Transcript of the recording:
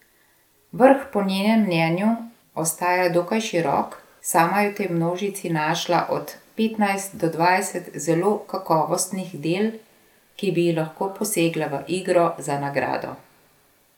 Vrh po njenem mnenju ostaja dokaj širok, sama je v tej množici našla od petnajst do dvajset zelo kakovostnih del, ki bi lahko posegla v igro za nagrado.